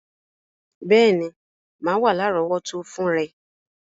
Béèní, má wa lárọ̀wọ́tó fun rẹ